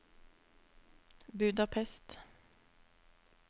Budapest